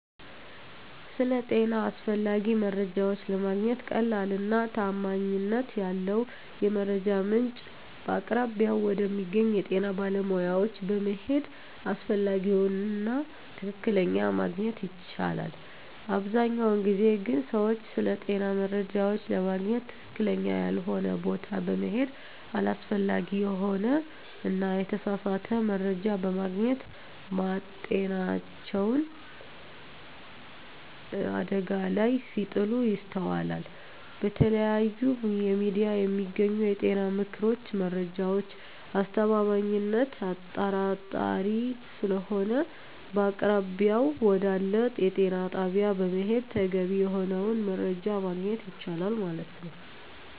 ስለ ጤና አስፈላጊ መረጃዎች ለማግኘት ቀላሉ እና ተአማኒነት ያለው የመረጃ ምንጭ በአቅራቢያው ወደሚገኘው የጤና ባለሙያዎች በመሄድ አስፈላጊውን እና ትክክለኛ ማግኝት ይቻላል አብዛኛውን ጊዜ ግን ሰወች ስለጤና መረጃዎች ለማግኝት ትክክለኛ ያልሆነ ቦታ በመሔድ አላስፈላጊ የሆነ እና የተሳሳተ መረጃ በማግኘት ማጤናቸውን አደጋ ላይ ሲጥሉ ይስተዋላል በተለያዩ የሚዲያ የሚገኙ የጤና ምክሮች መረጃዎች አስተማማኝነት አጣራጣሪ ሰለሆነ በአቅራቢያው ወደአለ የጤና ጣቢያ በመሔድ ተገቢ የሆነውን መረጃ ማግኘት የቻላል ማለት።